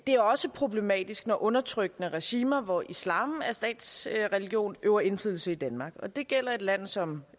er også problematisk når undertrykkende regimer hvor islam er statsreligion øver indflydelse i danmark og det gælder et land som